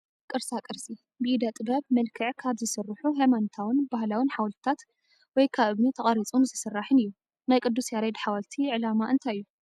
ቅርሳ ቅርሲ፡ ብኢደ ጥበብ መልክዕ ካብ ዝስርሑ ሃይማኖታውን ባህላውን ሓወልታት፣ ወይ ካብ እመኒ ተቐሪፁን ዝስራሕን እዩ፡፡ ናይ ቅዱስ ያሬድ ሓወልቲ ዕላማ እንታይ እዩ?